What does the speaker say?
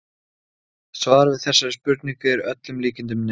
Svarið við þessari spurningu er að öllum líkindum nei.